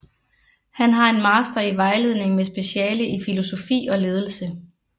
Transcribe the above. Han har en master i vejledning med speciale i filosofi og ledelse